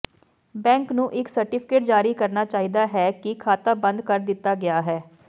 bank ਨੂੰ ਇਕ certificate ਜਾਰੀ ਕਰਨਾ ਚਾਹੀਦਾ ਹੈ ਕਿ ਖਾਤਾ ਬੰਦ ਕਰ ਦਿੱਤਾ ਗਿਆ ਹੈ